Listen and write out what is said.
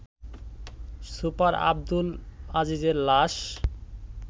super Abdul আজিজের লাশ